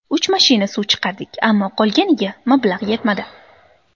Uch mashina suv chiqardik, ammo qolganiga mablag‘ yetmadi.